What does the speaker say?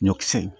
Ɲɔkisɛ